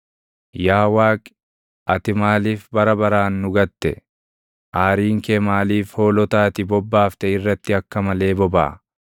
Yaa Waaqi, ati maaliif bara baraan nu gatte? Aariin kee maaliif hoolota ati bobbaafte irratti akka malee bobaʼa?